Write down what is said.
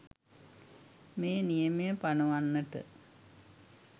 මේ නියමය පනවන්නට